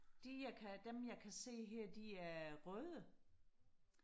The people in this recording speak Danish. de er kan dem jeg kan se her de er røde